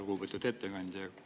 Lugupeetud ettekandja!